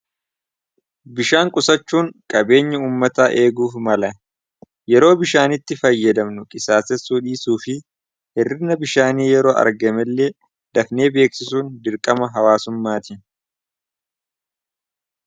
bishaan qusachuun qabeenya ummataa eeguuf mala. yeroo bishaanitti fayyadamnu qisaasessuu dhiisuu fi hirrinna bishaanii yeroo argame illee dafnee beeksisuun dirqama hawaasummaati